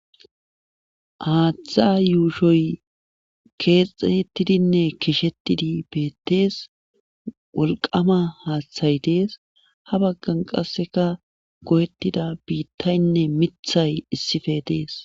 Haaththa yuushoy keexxettidinne keshettidi beettees wolqama haaththay dees ha baggan qasseka go'ettida biittaynne mithay issife dees.